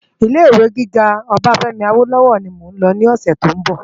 Ilé Iwé gigá Obafemi Awolowo ni mó n lò lòsè tó n bò